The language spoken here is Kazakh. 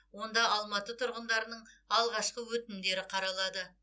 онда алматы тұрғындарының алғашқы өтінімдері қаралады